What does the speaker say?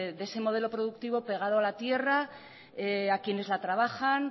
de ese modelo productivo pegado a la tierra a quienes la trabajan